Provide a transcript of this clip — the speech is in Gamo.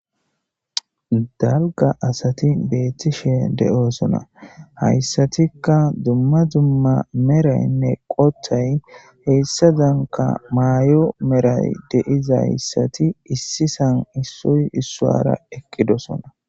Dalga asati beettishe de'oosona hayssatikka dumma dumma meraynne qoththay heyssa zanka maay'o meray deizayssati issisan issoy issuara ekkidosona.